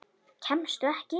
Kemstu ekki inn?